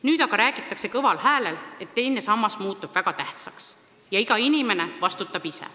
Nüüd aga räägitakse kõva häälega, et teine sammas muutub väga tähtsaks ja iga inimene vastutab ise.